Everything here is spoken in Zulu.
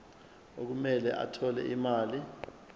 okumele athole imali